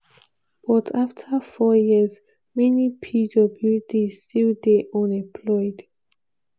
but afta four years many pwds still dey unemployed.